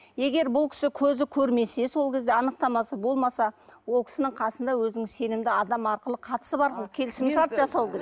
егер бұл кісі көзі көрмесе сол кезде анықтамасы болмаса ол кісінің қасында өзінің сенімді адамы арқылы қатысы бар келісімшарт жасау керек